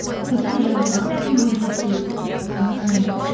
сосын жаңағы үлкен көрінесің ііі